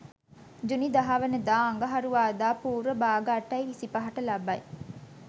ජුනි 10 වන දා අඟහරුවාදා පූර්ව භාග 8.25 ට ලබයි.